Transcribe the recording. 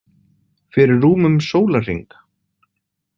Fyrir rúmum sólarhring.